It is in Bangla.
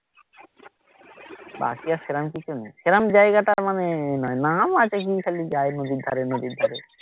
বাকি আর সেরকম কিছু নেই সেরকম জায়গাটা মানে নাম আছে কি খালি যাই নদীর ধারে নদীর ধারে